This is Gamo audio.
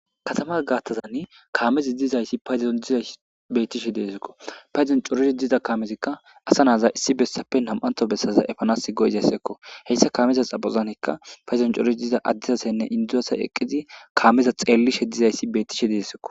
Kaatama gaththazanii kaamezi dizayssa payddon beettishe de'esikko payddon coriddi diza kaamezikka asa naza issi bessappe nam'anththo bessaza eepanas go'izayssakko hessa kaameza bessanikka payddon cooridi diza adde asanne indi asay kaameza eeqidi kaameza xellishe dizayssi bettishe de'esikko